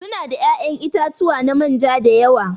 Su na da ya'yan itatuwa na manja da yawa.